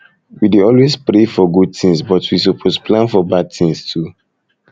we dey always um pray um for good tins but we suppose um plan for bad tins too